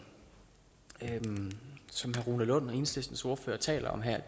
herre rune lund enhedslistens ordfører taler om her